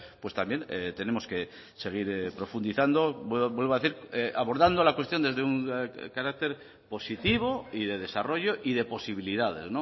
pues también tenemos que seguir profundizando vuelvo a decir abordando la cuestión desde un carácter positivo y de desarrollo y de posibilidades